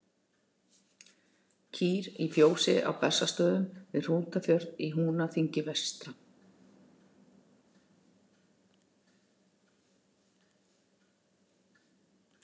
Kýr í fjósi á Bessastöðum við Hrútafjörð í Húnaþingi vestra.